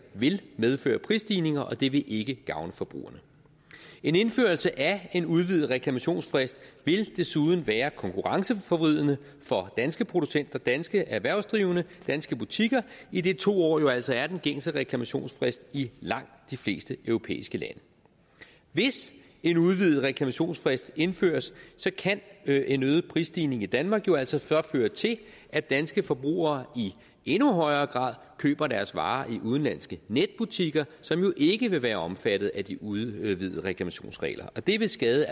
vil medføre prisstigninger og det vil ikke gavne forbrugerne en indførelse af en udvidet reklamationsfrist vil desuden være konkurrenceforvridende for danske producenter danske erhvervsdrivende danske butikker idet to år jo altså er den gængse reklamationsfrist i langt de fleste europæiske lande hvis en udvidet reklamationsfrist indføres kan en øget prisstigning i danmark jo altså så føre til at danske forbrugere i endnu højere grad køber deres varer i udenlandske netbutikker som jo ikke vil være omfattet af de udvidede reklamationsregler og det vil skade